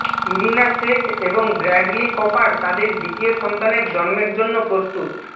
Irina Shayk এবং Bradley Cooper তাদের দ্বিতীয় সন্তানের জন্মের জন্য প্রস্তুত